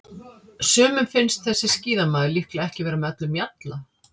Sumum finnst þessi skíðamaður líklega ekki vera með öllum mjalla.